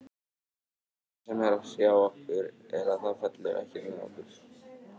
Það sem er að hrjá okkur er að það fellur ekkert með okkur.